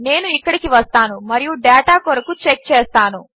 నేను ఇక్కడికి వస్తాను మరియు డేటా కొరకు చెక్ చేస్తాను